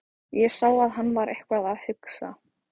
Ég sá að hann var eitthvað að hugsa.